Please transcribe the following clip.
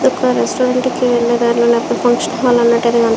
Restaurant కి వెళ్లే దారిలోనే ఫంక్షన్ హాల్ అనేది కనిపిస్తుంది.